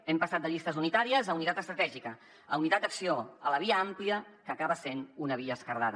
hem passat de llistes unitàries a unitat estratègica a unitat d’acció a la via àmplia que acaba sent una via esquerdada